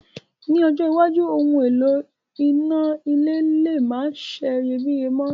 Ní ọjọ́ iwájú, oun èlò iná le ma seyebíye mo